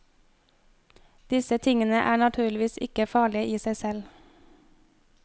Disse tingene er naturligvis ikke farlige i seg selv.